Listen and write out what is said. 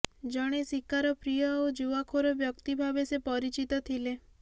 ଜଣେ ଶିକାରପ୍ରିୟ ଓ ଜୁଆଖୋର ବ୍ୟକ୍ତି ଭାବେ ସେ ପରିଚିତ ଥିଲେ